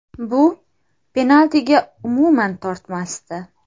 Bu penaltiga umuman tortmasdi.